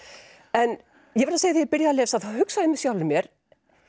en ég verð að segja ég byrjaði að lesa þá hugsaði ég með sjálfri mér